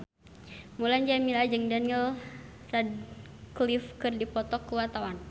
Mulan Jameela jeung Daniel Radcliffe keur dipoto ku wartawan